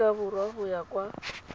aforika borwa go ya kwa